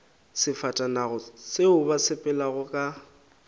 sefatanaga seo ba sepelago ka